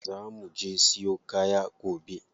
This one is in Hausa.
Za muje siyo kaya gobe.